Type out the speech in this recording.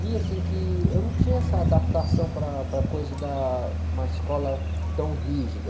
Vi, assim, que eu não tinha essa adaptação para a, para a coisa da... Uma escola tão rígida.